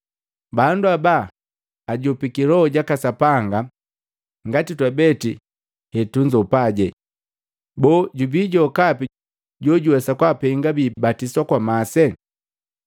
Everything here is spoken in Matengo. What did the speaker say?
“Bandu haba bunzopiki Loho jaka Sapanga jaka Sapanga ngati twabete hetunzopaje. Boo, jubijokapi jojuwesa kwapenga biibatiswa kwa masi?”